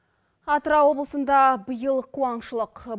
атырау облысында биыл қуаңшылық